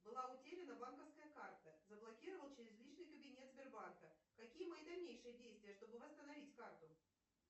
была утеряна банковская карта заблокировал через личный кабинет сбербанка какие мои дальнейшие действия чтобы восстановить карту